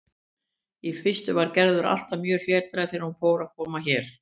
Í fyrstu var Gerður alltaf mjög hlédræg þegar hún fór að koma hér.